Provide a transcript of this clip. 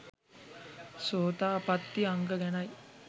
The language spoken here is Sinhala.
සෝතාපත්ති අංග ගැනයි.